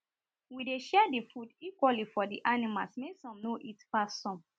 we dey share the food equally for the animals make some no eat pass some